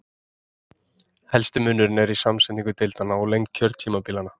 Helsti munurinn er í samsetningu deildanna og lengd kjörtímabila.